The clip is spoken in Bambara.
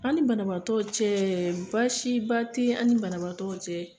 Ani banabaatɔw cɛ, baasi ba tɛ ani banabaatɔ cɛ!